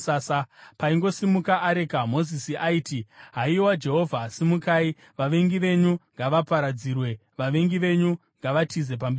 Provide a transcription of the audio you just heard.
Paingosimuka areka, Mozisi aiti, “Haiwa Jehovha, simukai! Vavengi venyu ngavaparadzirwe, vavengi venyu ngavatize pamberi penyu.”